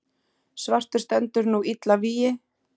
svartur stendur nú illa vígi.